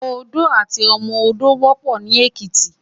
Odó àti ọmọ odó wòpò ni Ekiti